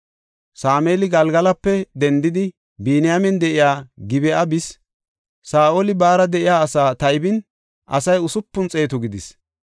Sameeli Galgalape dendidi, Biniyaamen de7iya Gib7a bis. Saa7oli baara de7iya asaa taybin, asay usupun xeetu gidis.